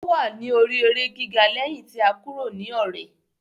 Ó wà ní orí eré gíga lẹ́yìn ti a kúrò ní Ọ̀rẹ̀.